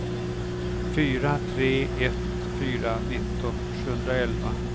fyra tre ett fyra nitton sjuhundraelva